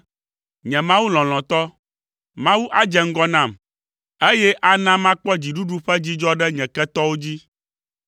nye Mawu lɔlɔ̃tɔ. Mawu adze ŋgɔ nam, eye ana makpɔ dziɖuɖu ƒe dzidzɔ ɖe nye ketɔwo dzi.